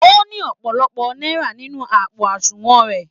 O ní ọpọlọpọ náírà nínú àpò àsùnwọ̀n rẹ.